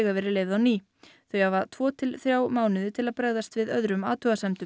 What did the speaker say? verið leyfð á ný þau hafa tvo til þrjá mánuði til að bregðast við öðrum athugasemdum